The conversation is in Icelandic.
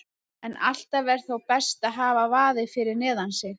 En alltaf er þó best að hafa vaðið fyrir neðan sig.